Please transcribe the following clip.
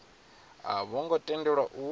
a vho ngo tendelwa u